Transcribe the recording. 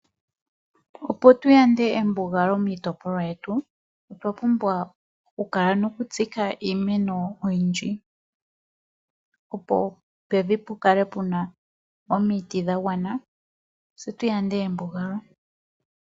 Opo tu yande embugalo miitipolwa yetu otwa pumbwa okukuna iimeno oyindji opo pevi pu kale puna omiti dha gwana tse tu yande embugalo.